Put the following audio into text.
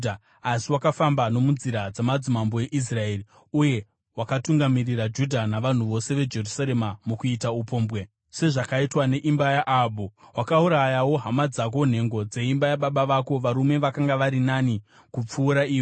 Asi wakafamba nomunzira dzamadzimambo eIsraeri uye wakatungamirira Judha navanhu vose veJerusarema mukuita upombwe sezvakaitwa neimba yaAhabhu. Wakaurayawo hama dzako, nhengo dzeimba yababa vako varume vakanga vari nani kupfuura iwe.